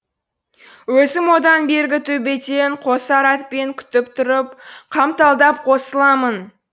өзім одан бергі төбеден қосар атпен күтіп тұрып қамталдап қосыламын